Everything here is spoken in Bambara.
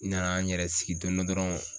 N nana n yɛrɛ sigi don dɔ dɔrɔn